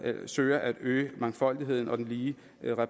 søger at øge mangfoldigheden og den lige